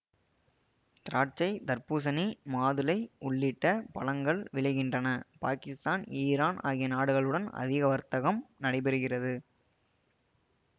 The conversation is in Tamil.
திராட்சை தர்பூசணி மாதுளை உள்ளிட்ட பழங்கள் விளைகின்றன பாக்கிஸ்தான் இரான் ஆகிய நாடுகளுடன் அதிக வர்த்தகம் நடைபெறுகிறது